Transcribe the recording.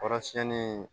Kɔrɔsiɲɛni